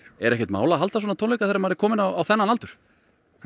er ekkert mál að halda svona tónleika þegar maður er kominn á þennan aldur hvað